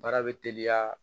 Baara bɛ teliya